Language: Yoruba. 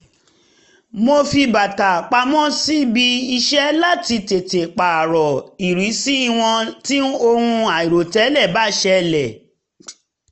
wọ́n fi bàtà pamọ́ síbi iṣẹ́ láti tètè pààrọ̀ ìrísí wọn tí ohun àìròtẹ́lẹ̀ bá yọjú